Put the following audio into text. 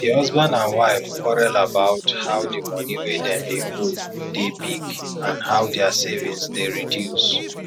di husband and wife quarrel about how the money wey dem dey owe dey big and how dia savings dey reduce